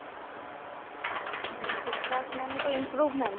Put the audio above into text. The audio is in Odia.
ବିକାଶ ମାନେ ତ improvement